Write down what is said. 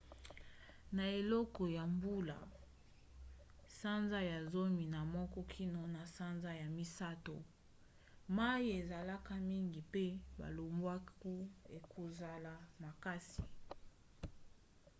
na eleko ya mbula sanza ya zomi na moko kino na sanza ya misato mai ezalaka mingi mpe balobwaku ekozala makasi